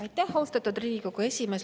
Aitäh, austatud Riigikogu esimees!